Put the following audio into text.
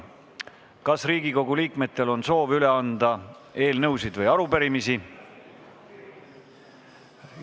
Kas Riigikogu liikmetel on soovi üle anda eelnõusid või arupärimisi?